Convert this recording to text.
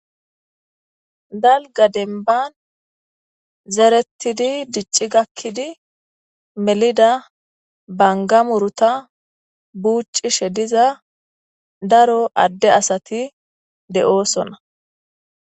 Dalga denban zerettidi dicci gakkidi melida bangamuruta buuccishe diza daro adde asati de7oosonna.